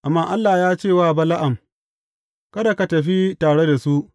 Amma Allah ya ce wa Bala’am, Kada ka tafi tare da su.